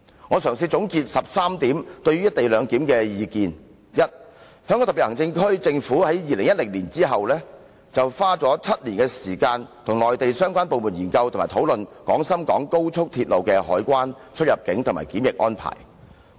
我嘗試總結13點對於"一地兩檢"的意見：第一，香港特別行政區政府自2010年後，花了7年時間與內地相關部門研究及討論廣深港高鐵的海關、出入境及檢疫安排。